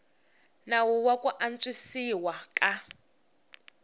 nawu wa ku antswisiwa ka